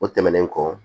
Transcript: O tɛmɛnen kɔ